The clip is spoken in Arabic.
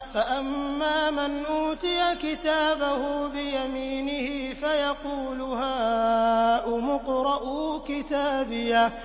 فَأَمَّا مَنْ أُوتِيَ كِتَابَهُ بِيَمِينِهِ فَيَقُولُ هَاؤُمُ اقْرَءُوا كِتَابِيَهْ